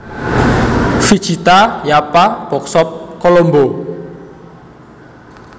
Vijitha Yapa Bookshop Colombo